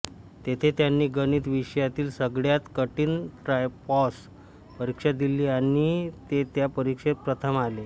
तेथे त्यांनी गणित विषयातील सगळ्यात कठीण ट्रायपॉस परीक्षा दिली आणि ते त्या परीक्षेत प्रथम आले